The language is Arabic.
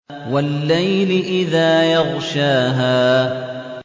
وَاللَّيْلِ إِذَا يَغْشَاهَا